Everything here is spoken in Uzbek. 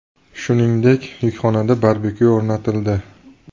Shuningdek, yukxonada barbekyu o‘rnatildi.